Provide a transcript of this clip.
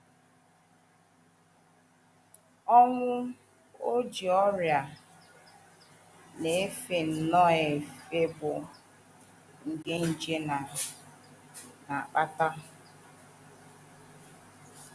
Ọnwụ Ojii: Ọrịa na - efe nnọọ efe bụ́ nke nje na - akpata.